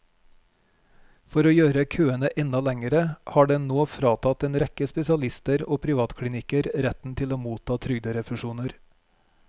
For å gjøre køene enda lengre har den nå fratatt en rekke spesialister og privatklinikker retten til å motta trygderefusjoner.